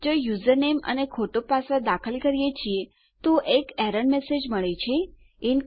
જો આપણે યુઝરનેમ અને ખોટો પાસવર્ડ દાખલ કરીએ છીએ તો આપણને એક એરર મેસેજ મળે છે ઇન્કરેક્ટ પાસવર્ડ